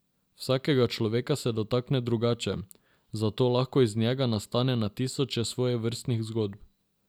Vsakega človeka se dotakne drugače, zato lahko iz njega nastane na tisoče svojevrstnih zgodb.